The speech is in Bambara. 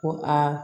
Ko aa